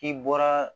K'i bɔra